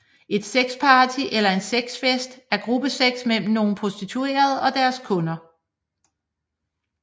Et sexparty eller en sexfest er gruppesex mellem nogle prostituerede og deres kunder